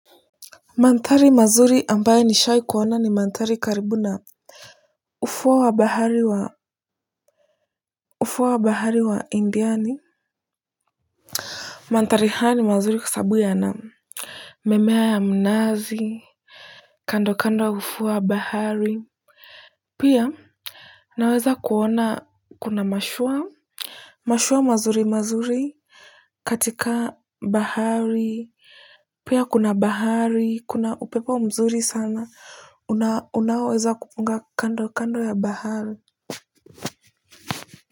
Mandhari mazuri ambayo nishawahi kuona ni mandhaari karibu na ufuo wa bahari wa ufuo wa bahari wa indiani. Mandhari haya ni mazuri kwa sababu yanamimea ya mnazi. Kando kando ya ufuo wa bahari. Pia, naweza kuona kuna mashua. Mashua mazuri mazuri katika bahari. Pia kuna bahari kuna upepo mzuri sana. Unaoweza kupunga kando kando ya bahari.